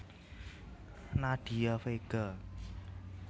Nadia Vega